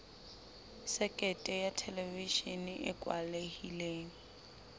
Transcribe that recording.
sekete ya thelevishene e kwalehileng